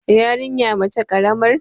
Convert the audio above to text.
yarinya mace karamar